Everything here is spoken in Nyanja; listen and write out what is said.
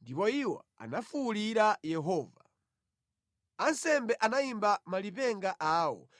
Ndipo iwo anafuwulira Yehova. Ansembe anayimba malipenga awo